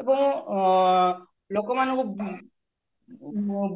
ଏବଂ ଆଁ ଲୋକମାନଙ୍କୁ